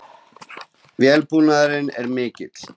Viðbúnaðurinn er mikill